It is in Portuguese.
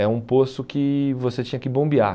É um poço que você tinha que bombear.